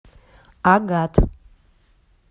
агат